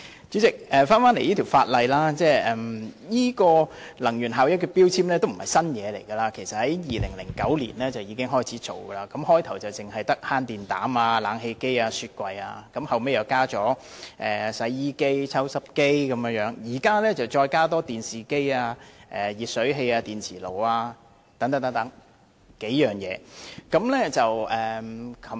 主席，強制性能源效益標籤計劃並非新事物，計劃在2009年已開始推行，初期只涵蓋慳電膽、冷氣機和雪櫃，後來納入洗衣機、抽濕機，現在再納入電視機、儲水式電熱水器和電磁爐等數種電器。